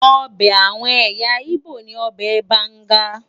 Ọbẹ̀ àwọn ẹ̀yà Igbo ni ọbẹ̀ banga.